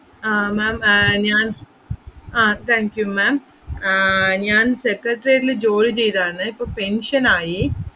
ആഹ് ma'am ഞാൻ ആഹ് thank you ma'am ആഹ് ഞാൻ secretariat ല് ജോലി ചെയ്തതാന്ന്, ഇപ്പം pension ആയി